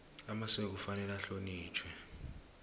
amasiko kufanele ahlonitjhwe